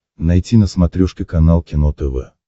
найти на смотрешке канал кино тв